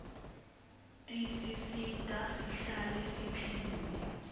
tisisita sihlale siphilile